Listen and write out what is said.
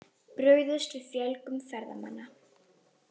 Brugðist við fjölgun ferðamanna